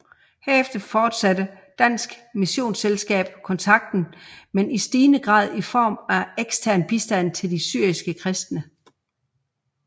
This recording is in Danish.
Herefter fortsatte Dansk Missionsselskab kontakten men i stigende grad i form af ekstern bistand til de syriske kristne